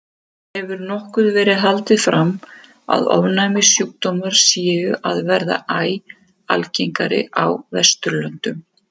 Því hefur nokkuð verið haldið fram að ofnæmissjúkdómar séu að verða æ algengari á Vesturlöndum.